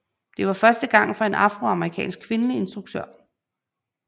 Det var første gang for en afroamerikansk kvindelig instruktør